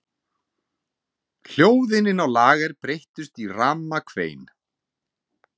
Hljóðin inni á lager breyttust í ramakvein.